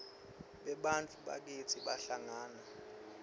bebantfu bakitsi bahlangana